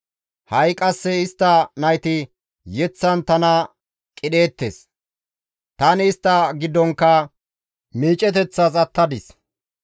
Ha7i qasse istta nayti yeththan tana qidheettes; tani istta giddonkka miiceteththas attadis.